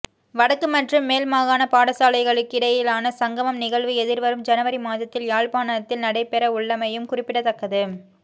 வடக்கு மற்றும் மேல்மாகாண பாடசாலைகளுக்கிடையிலான சங்கமம் நிகழ்வு எதிர்வரும் ஜனவரி மாதத்தில் யாழ்ப்பாணத்தில் நடைபெறவுள்ளமையும் குறிப்பிடத்தக்கது